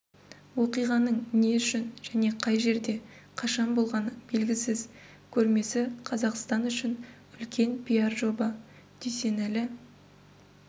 оқиғаның не үшін және қай жерде қашан болғаны белгісіз көрмесі қазақстан үшін үлкен пиар жоба дүйсенәлі